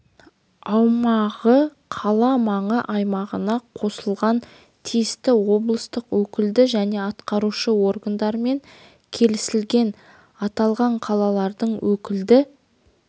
аумағы қала маңы аймағына қосылған тиісті облыстық өкілді және атқарушы органдармен келісілген аталған қалалардың өкілді